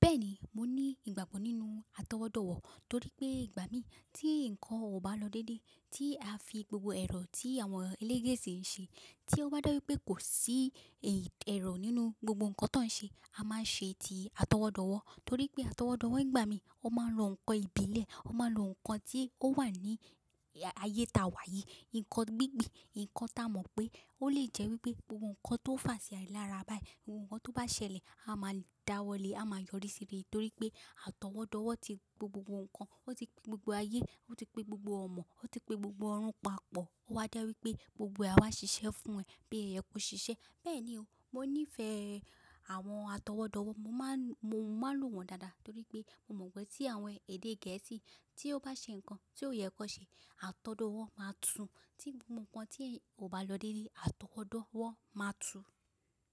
Bẹ́ẹ̀ni, mo ní ìgbàgbọ́ nínú àtọwọ́dọ̀wọ́ torí pé ìgbà mí tí nǹkan ò bá lọ déédéé, tí a fi gbogbo ẹ̀rọ tí àwọn ẹlẹ́gẹ̀sẹ̀ ń ṣe, tí ó bá dáru pé kò sí ẹ̀rọ nínú gbogbo nǹkan tó ń ṣe, a máa ṣe ti àtọwọ́dọ̀wọ́. Torí pé àtọwọ́dọ̀wọ́ nìgbà mí ó máa ń lo nǹkan ìbílẹ̀, ó máa ń lo nǹkan tí ó wà ní ayé ta wà yìí, nǹkan gbígbì, nǹkan tá a mọ̀ pé ó lè jẹ́ wípé gbogbo nǹkan tó fà sí ài lára báyìí, ohun kan tó bá ṣẹlẹ̀, a máa dáwọ́ lé, a máa yọrí sí rẹ̀ torí pé àtọwọ́dọ̀wọ́ ti pé gbogbo nǹkan, ó ti pé gbogbo ayé, ó ti pé gbogbo ọ̀mọ̀, ó ti pé gbogbo ọrùn papọ̀. Ó wa jé wípé gbogbo e àwa ṣiṣẹ́ fún ẹ̀, bí òse yẹ kí ṣiṣẹ́. Bẹ́ẹ̀ ni o, mo nífẹ̀ẹ́ àwọn àtọwọ́dọ̀wọ́, mo máa ń lo wọ́n dáadáa torí pé mo mọ̀ pé tí àwọn èdè gẹ̀ẹ́sì tí ó bá ṣe nǹkan tí ó yẹ kó ṣe, àtọwọ́dọ̀wọ́ máa tú. Tí gbogbo nǹkan tí ò bá lọ dédé, àtọwọ́dọ̀wọ́ máa tú.